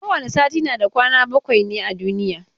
Kowane sati na da kwana bakwai ne a duniya.